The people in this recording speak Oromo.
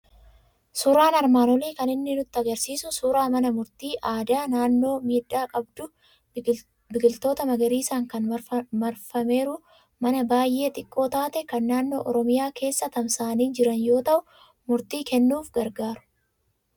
Suuraan armaan olii kan inni nutti argisiisu suuraa mana murtii aadaa, naannoo miidhaa qabdu, biqiloota magariisaan kan marfameeru, mana baay'ee xiqqoo taate, kan naannoo Oromiyaa keessa tamsa'anii jiran yoo ta'u, murtii kennuuf gargaaru.